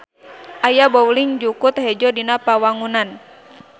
Aya bowling jukut hejo dina pawangunan.